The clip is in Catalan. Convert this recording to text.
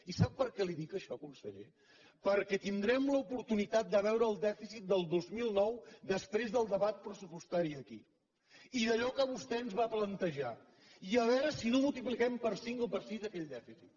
i sap per què li ho dic això conseller perquè tindrem l’oportunitat de veure el dèficit del dos mil nou després del debat pressupostari aquí i allò que vostè ens va plantejar i a veure si no multipliquem per cinc o per sis aquell dèficit